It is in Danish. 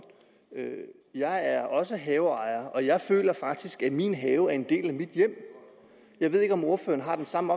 jeg er også haveejer og jeg føler faktisk at min have er en del af mit hjem jeg ved ikke om ordføreren har den samme